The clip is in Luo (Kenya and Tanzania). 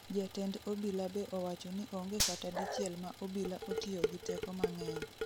Jatend obila be owacho ni onge kata dichiel ma obila otiyo gi teko mang'eny